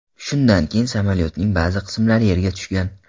Shundan keyin samolyotning ba’zi qismlari yerga tushgan.